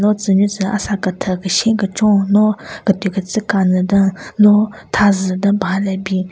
Lo tsü nyu tsü asa kethye keshen kechon no ketyü ketsü kanye den lo tha zü den paha le bin.